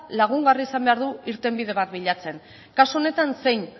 lagungarria izan behar du irtenbide bat bilatzen kasu honetan zein